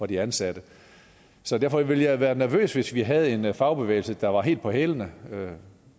de ansatte derfor ville jeg være nervøs hvis vi havde en fagbevægelse der var helt på hælene